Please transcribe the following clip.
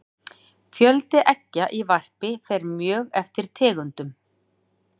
fjöldi eggja í varpi fer mjög eftir tegundum